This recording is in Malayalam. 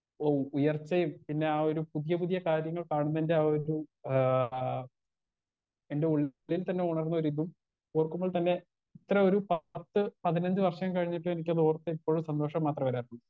സ്പീക്കർ 1 ഔ ഉയർച്ചയും പിന്നെ ആ ഒരു പുതിയ പുതിയ കാര്യങ്ങൾ കാണുന്നേന്റെ ആ ഒരു ആ എന്റെ ഉള്ളിൽ തന്നെ ഉണർന്നൊരിതും ഓർക്കുമ്പോൾ തന്നെ ഇത്ര ഒരു പാർട്ട് പതിനഞ്ച് വർഷം കഴിഞ്ഞിട്ടും എനിക്കത് ഓർത്ത് ഇപ്പഴും സന്തോഷം മാത്രേ വരാറുള്ളൂ.